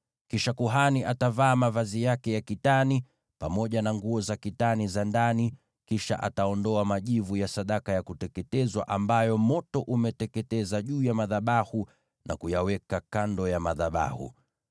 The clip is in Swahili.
Kisha kuhani atavaa mavazi yake ya kitani, pamoja na nguo za ndani za kitani mwilini wake, na aondoe majivu ya sadaka ya kuteketezwa ambayo moto umeteketeza juu ya madhabahu, na kuyaweka kando ya madhabahu.